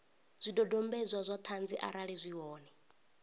zwidodombedzwa zwa ṱhanzi arali zwi hone